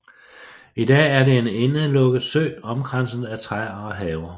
I dag er det en indelukket sø omkranset af træer og haver